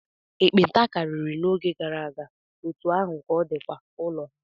Nkpenta karịri n'oge gara aga, otú ahụ ka ọ dịkwa ụlọ ha.